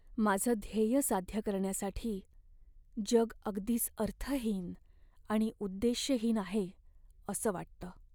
माझं ध्येय साध्य करण्यासाठी जग अगदीच अर्थहीन आणि उद्देश्यहीन आहे असं वाटतं.